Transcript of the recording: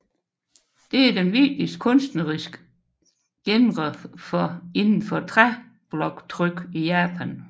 Det er den vigtigste kunstneriske genre inden for træbloktryk i Japan